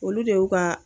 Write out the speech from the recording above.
Olu de y'u ka